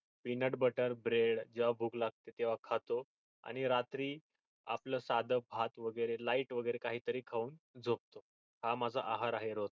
penut butter bred जेव्हा भूक लागते तेव्हा खातो आणि रात्री आपल साध भात वेगेरे lite वेगेरे काहीतरी खाऊन झोपतो हा माझा आहार आहे रोजचा